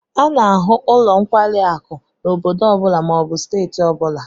A n'ahu nlo nkwari akụ n'obodo obula ma obu steeti obula